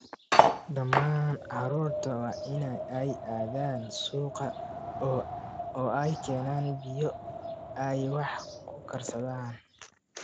Dhammaan carruurta waa in ay aadaan suuqa oo ay keenaan biyo ay wax ku karsadaan